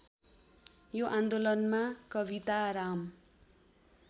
यो आन्दोलनमा कविताराम